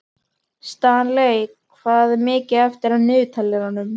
Stanley, hvað er mikið eftir af niðurteljaranum?